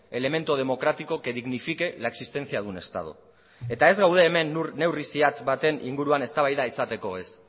elemento democrático que dignifique la existencia de un estado eta ez gaude hemen neurri zehatz baten inguruan eztabaida izateko ez